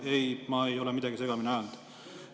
Ei, ma ei ole midagi segamini ajanud.